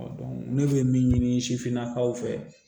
ne bɛ min ɲini sifinnakaw fɛ